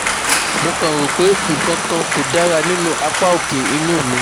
Mo kan rò pé nǹkan kan kò dára nínú apá òkè inu mi